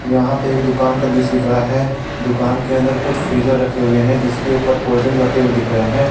यहां पे एक दुकान का दृश्य दिख रहा है दुकान के अंदर कुछ फ्रिजर रखे हुए हैं जिसके ऊपर कोल्ड ड्रिंग रहे हुए दिख रहे हैं।